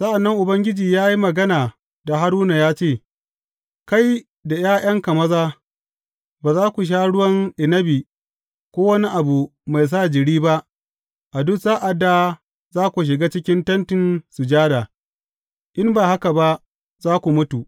Sa’an nan Ubangiji ya yi magana da Haruna ya ce, Kai da ’ya’yanka maza, ba za ku sha ruwan inabi ko wani abu mai sa jiri ba a duk sa’ad da za ku shiga cikin Tentin Sujada, in ba haka ba za ku mutu.